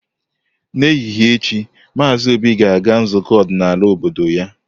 N'ehihie echi, Maazị Obi ga-aga nzukọ ọdịnala obodo ya.